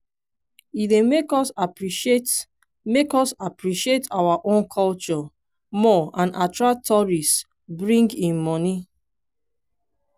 e dey make us appreciate make us appreciate our own culture more and attract tourists bring in monie.